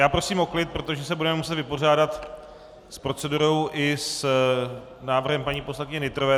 Já prosím o klid, protože se budeme muset vypořádat s procedurou i s návrhem paní poslankyně Nytrové.